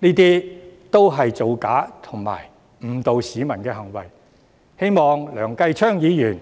這些也是造假及誤導市民的行為，希望梁繼昌議員